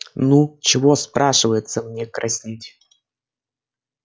ну чего спрашивается мне краснеть